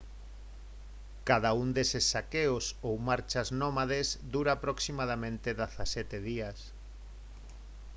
cada un deses saqueos ou marchas nómades dura aproximadamente 17 días